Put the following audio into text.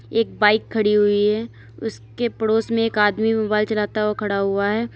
एक बाइक हुई है उसके पड़ोस में एक आदमी मोबाइल चलाता हुआ खड़ा हुआ है।